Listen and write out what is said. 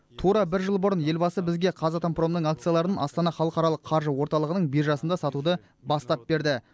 тура бір жыл бұрын елбасы бізге қазатомпромның акцияларын астана халықаралық қаржы орталығынң биржасында сатуды бастап берді